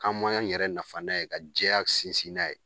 K'an m'an yɛrɛ nafa n'a ye ka jɛya sinsin n'a ye